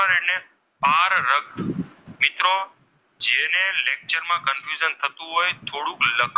થતું હોય થોડુંક .